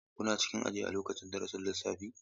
Kuna cikin aji a lokacin darasin lissafi?